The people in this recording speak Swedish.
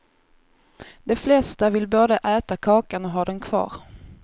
De flesta vill både äta kakan och ha den kvar.